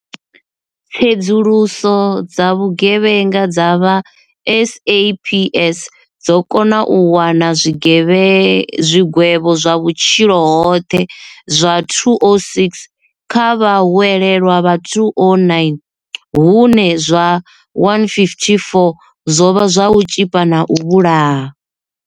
Tsedzuluso dza vhugevhenga dza vha SAPS dzo kona u wana zwigwevho zwa vhutshilo hoṱhe zwa 206 kha vhahwelelwa vha 209, hune zwa 154 zwo vha zwa u tzhipa na u vhulaha.